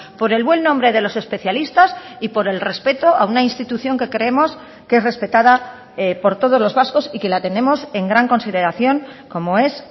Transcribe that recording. por el buen nombre de los especialistas y por el respeto a una institución que creemos que es respetada por todos los vascos y que la tenemos en gran consideración como es